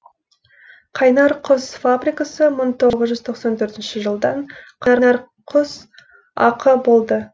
қайнар құс фабрикасы мың тоғыз жүз тоқсан төртінші жылдан қарнар құс ақ болды